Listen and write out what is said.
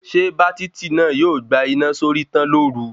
Ṣé bátítì náà yóò gbà iná sórí tán lóru